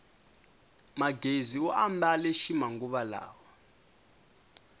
magezi u ambale ximanguva lawa